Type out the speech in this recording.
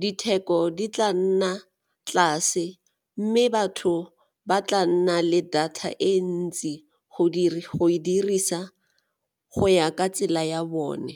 ditheko di tla nna tlase mme batho ba tla nna le data e ntsi go e dirisa go ya ka tsela ya bone.